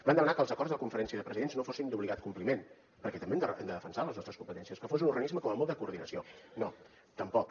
vam demanar que els acords de la conferència de presidents no fossin d’obligat compliment perquè també hem de defensar les nostres competències que fos un organisme com a molt de coordinació no tampoc